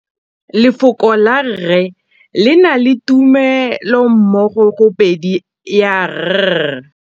Lefoko la rre, le na le tumammogôpedi ya, r.